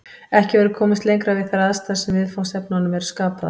Ekki verður komist lengra við þær aðstæður sem viðfangsefnunum eru skapaðar.